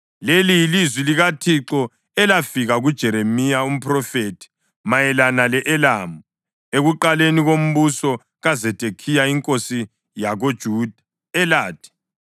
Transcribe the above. Leli yilizwi likaThixo elafika kuJeremiya umphrofethi mayelana le-Elamu, ekuqaleni kombuso kaZedekhiya inkosi yakoJuda, elathi: